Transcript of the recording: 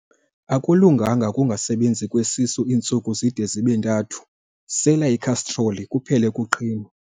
Akulunganga ukungasebenzi kwesisu iintsuku zide zibe ntathu, sela ikhastroli kuphele ukuqhinwa.